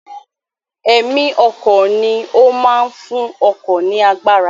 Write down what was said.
Ẹ̀mí ọkọ̀ ni ó máa ń fún ọkọ̀ ní agbára